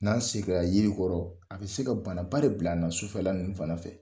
N'an sigira yirikɔrɔ, a bɛ se ka banaba de bila an na sufɛla ninnu fana fɛ.